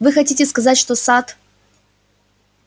вы хотите сказать что сатт